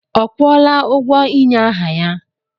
Ọ kwụọla ụgwọ ịnye aha ya?